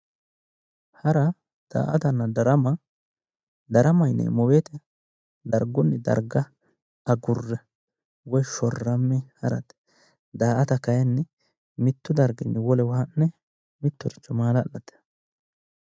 Hara daa'atanna darama ,darama yineemo woyiitte dargunni darga agure woy shorame haratte, daa'atta kayiinni mittu darginni wolewa ha'ne mittoricho maala'late.